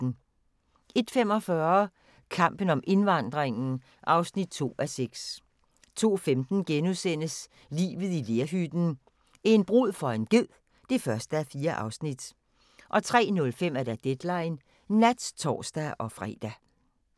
01:45: Kampen om indvandringen (2:6) 02:15: Livet i lerhytten – en brud for en ged (1:4)* 03:05: Deadline Nat (tor-fre)